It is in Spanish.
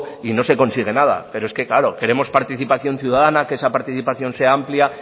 y no se consigue nada pero es que claro queremos participación ciudadana que esa participación sea amplia